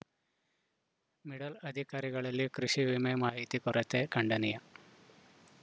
middle ಅಧಿಕಾರಿಗಳಲ್ಲಿ ಕೃಷಿ ವಿಮೆ ಮಾಹಿತಿ ಕೊರತೆ ಖಂಡನೀಯ